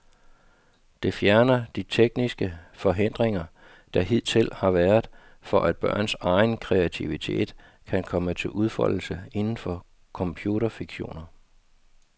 Det fjerner de tekniske forhindringer, der hidtil har været, for at børns egen kreativitet kan komme til udfoldelse inden for computerfiktioner.